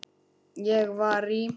Ég var í